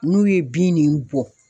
N'u ye bin nin bɔn